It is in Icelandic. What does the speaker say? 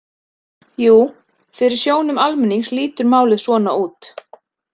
Jú fyrir sjónum almennings lítur málið svona út.